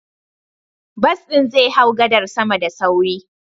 Bus ɗin zai hau gadar sama da sauri.